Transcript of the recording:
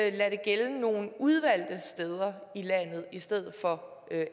ikke lade det gælde nogle udvalgte steder i landet i stedet for